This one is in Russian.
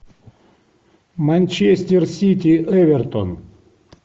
манчестер сити эвертон